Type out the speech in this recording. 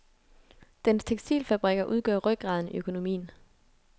Dens tekstilfabrikker udgør rygraden i økonomien.